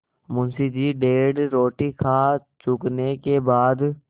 मुंशी जी डेढ़ रोटी खा चुकने के बाद